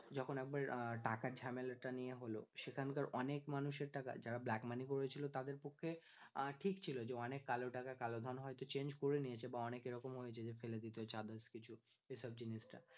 যখন একবার টাকার ঝামেলা টা নিয়ে হল সেখানকার অনেক মানুষের টাকা যারা black money করেছিল তাদের পক্ষে ঠিক ছিল যে অনেক কালো টাকা কালোধন হয়তো change করে নিয়েছে বা অনেক এরকম হয়েছে যে ফেলে দিয়েছে বা others কিছু এসব জিনিসটা